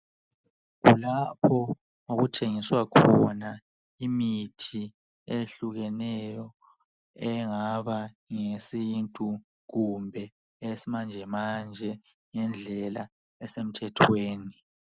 Kulapho okuthengiswa khona imithi eyehlukeneyo engaba ngeyesintu kumbe eyesimanjemanje ngendlela esemthethweni.